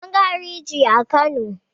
An ga hariji a Kano.